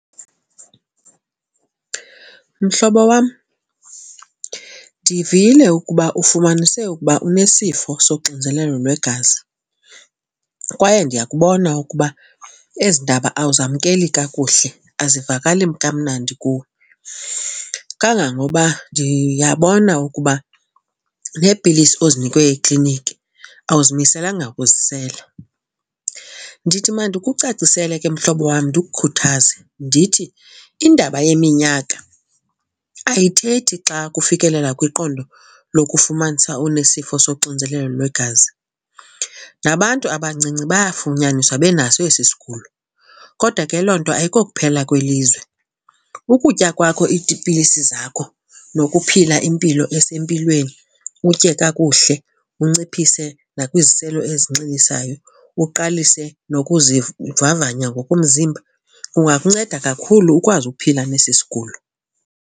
Mhlobo wam, ndivile ukuba ufumanise ukuba unesifo soxinzelelo lwegazi kwaye ndiyakubona ukuba ezi ndaba awuzamkeli kakuhle, azivakali kamnandi kuwe. Kangangoba ndiyabona ukuba neepilisi ozinikwe ekliniki awuzimiselanga kuzisela. Ndithi mandikucacisele ke, mhlobo wam, ndikhuthaze ndithi iindaba yeminyaka ayithethi xa kufikelela kwiqondo lokufumanisa unesifo soxinzelelo lwegazi. Nabantu abancinci bayafunyaniswa benaso esi sigulo, kodwa ke loo nto ayikokuphela kwelizwe. Ukutya kwakho iipilisi zakho nokuphila impilo esempilweni utye kakuhle, unciphise nakwiziselo ezinxilisayo, uqalise nokuzivavanya ngokomzimba kungakunceda kakhulu ukwazi ukuphila nesi sigulo.